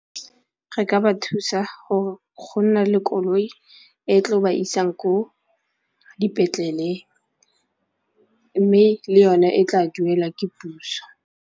Re ka ba thusa go nna le koloi e tlo ba isang ko dipetleleng mme le yone e tla duela ke puso.